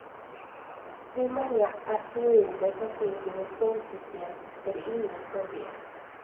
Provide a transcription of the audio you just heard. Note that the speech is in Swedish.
Hur många asteroider som finns i vårt solsystem är det ingen som vet.